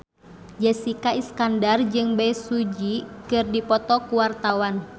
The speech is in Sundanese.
Jessica Iskandar jeung Bae Su Ji keur dipoto ku wartawan